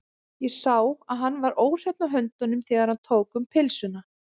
Ég sá að hann var óhreinn á höndunum, þegar hann tók um pylsuna.